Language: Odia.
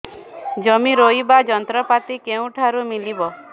ଜମି ରୋଇବା ଯନ୍ତ୍ରପାତି କେଉଁଠାରୁ ମିଳିବ